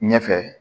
Ɲɛfɛ